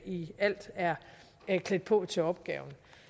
i alt er klædt på til opgaven